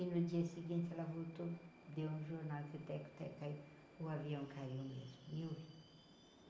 E no dia seguinte ela voltou, deu um jornal que o teco-teco caiu, o avião caiu mesmo.